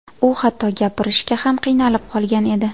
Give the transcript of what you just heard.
U hatto gapirishga ham qiynalib qolgan edi.